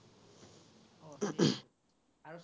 উম